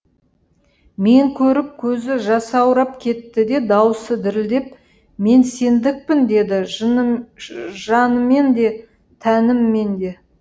мені көріп көзі жасаурап кетті де дауысы дірілдеп мен сендікпін деді жаныммен де тәніммен де